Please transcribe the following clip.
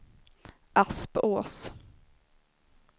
Aspås